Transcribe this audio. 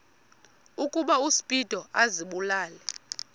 ukuba uspido azibulale